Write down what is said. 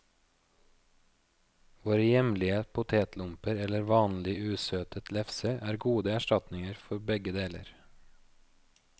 Våre hjemlige potetlomper eller vanlig usøtet lefse er gode erstatninger for begge deler.